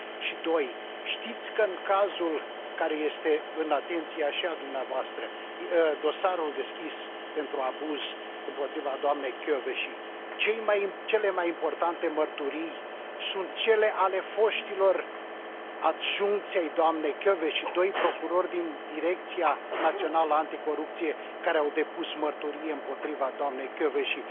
Și doi, știți că în cazul care este și în atenția dumneavoastră, dosarul deschis pentru abuz împotriva doamnei Kövesi cele mai importante mărturii sunt cele ale foștilor adjuncți ai doamnei Kövesi, doi procurori din Direcția Națională Anticorupție care au depus mărturie împotriva doamnei Kövesi?